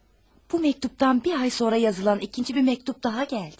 Bu məktubdan bir ay sonra yazılan ikinci bir məktub daha gəldi.